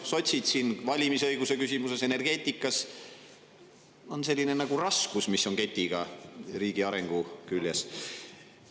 Sotsid on siin valimisõiguse küsimuses, energeetikas selline nagu raskus, mis on ketiga riigi arengu küljes.